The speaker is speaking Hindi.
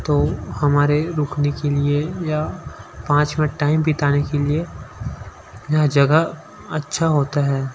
तो हमारे रुकने के लिए या पाँच मिनट टाइम बिताने के लिए यह जगह अच्छा होता है।